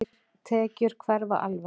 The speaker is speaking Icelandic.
Þær tekjur hverfa alveg.